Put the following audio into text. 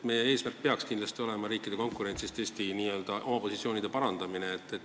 Meie eesmärk peaks kindlasti olema riikide konkurentsis oma positsioone parandada.